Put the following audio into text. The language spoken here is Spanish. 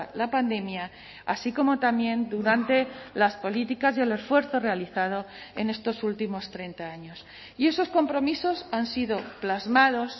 la pandemia así como también durante las políticas y el esfuerzo realizado en estos últimos treinta años y esos compromisos han sido plasmados